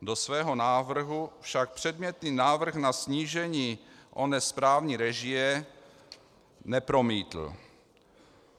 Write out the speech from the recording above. Do svého návrhu však předmětný návrh na snížení oné správní režie nepromítl.